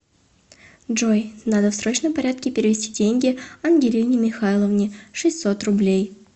джой надо в срочном порядке перевести деньги ангелине михайловне шестьсот рублей